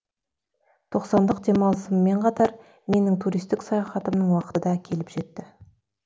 тоқсандық демалысыммен қатар менің туристік саяхатымның уақыты да келіп жетті